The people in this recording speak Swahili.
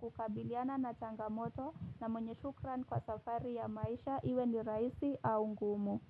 kukabiliana na changamoto na mwenye shukran kwa safari ya maisha iwe ni rahisi au ngumu.